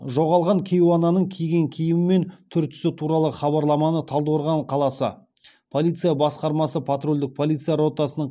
жоғалған кейуананың киген киімі мен түр түсі туралы хабарламаны талдықорған қаласы полиция басқармасы патрульдік полиция ротасының